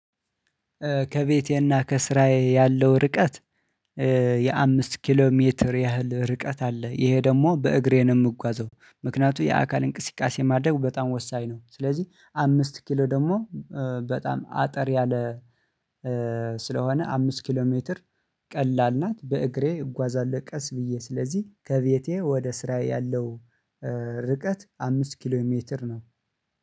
ከቤቴና ከስራዬ ያለው ርቀት የአምስት ኪሎ ሜትር ያህል ርቀት አለ። ይሄ ደግሞ በእግሬ የምጓዘው ምክንያቱም የአካል እንቅስቃሴ ማድረግ በጣም ወሳኝ ነው። ስለዚህ አምስት ኪሎ ደግሞ በጣም አጠር ያለ ስለሆነ አምስት ኪሎ ሜትር ቀላል ናት። በእግሬ እጓዛለሁ ቀስ ብዬ ስለዚህ ከቤቴ ወደ ስራዬ ያለው ርቀት አምስት ኪሎ ሜትር ነው